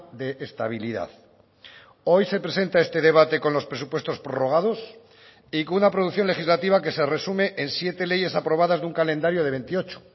de estabilidad hoy se presenta este debate con los presupuestos prorrogados y con una producción legislativa que se resume en siete leyes aprobadas de un calendario de veintiocho